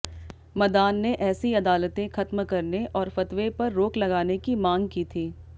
मदान ने ऐसी अदालतें खत्म करने और फतवे पर रोक लगाने की मांग की थी